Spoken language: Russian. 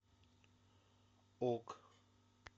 ок